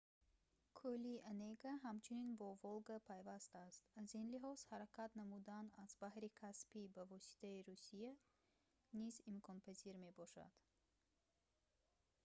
кӯли онега ҳамчунин бо волга пайваст аст аз ин лиҳоз ҳаракат намудан аз баҳри каспий ба воситаи русия низ имконпазир мебошад